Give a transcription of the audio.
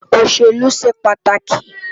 Oṣélú ṣé pàtáki